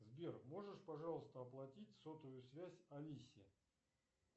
сбер можешь пожалуйста оплатить сотовую связь алисе